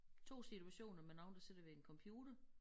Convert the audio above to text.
2 situationer med nogen der sidder ved en computer